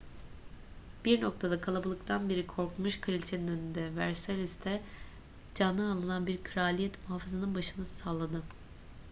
bir noktada kalabalıktan biri korkmuş kraliçe'nin önünde versailles'da canı alınan bir kraliyet muhafızının başını salladı